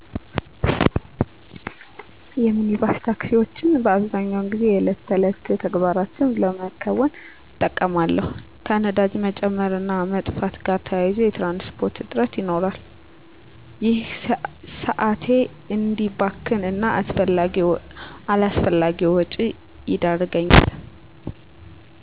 የሚኒባስ ታክሲወችን በአብዛኛው ጊዜ የዕለት ተዕለት ተግባራትን ለመከወን እጠቀማለሁ። ከነዳጅ መጨመር እና መጥፋት ጋር በተያያዘ የትራንስፖርት እጥረት ይኖራል። ይህም ሰአቴ እዲባክን እና አላስፈላጊ ወጪ ይዳረገኛል።